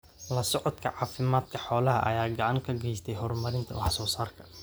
La socodka caafimaadka xoolaha ayaa gacan ka geysta horumarinta wax soo saarka.